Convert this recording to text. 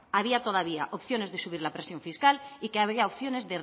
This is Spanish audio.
había todavía opciones de subir la presión fiscal y que había opciones